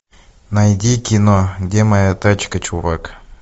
найди кино где моя тачка чувак